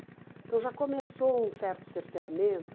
Então já começou um certo cerceamento